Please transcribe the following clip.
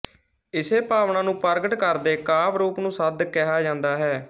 ਇਸੇ ਭਾਵਨਾ ਨੂੰ ਪ੍ਰਗਟ ਕਰਦੇ ਕਾਵਿ ਰੂਪ ਨੂੰ ਸੱਦ ਕਿਹਾ ਜਾਂਦਾ ਹੈ